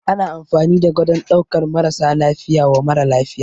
Ana amfani da gadon ɗaukan marasa lafiya wa mara lafiya.